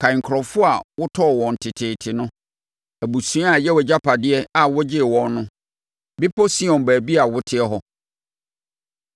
Kae nkurɔfoɔ a wotɔɔ wɔn teteete no, abusua a ɛyɛ wʼagyapadeɛ a wogyee wɔn no, Bepɔ Sion, baabi a woteɛ hɔ.